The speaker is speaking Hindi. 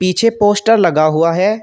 पीछे पोस्टर लगा हुआ है।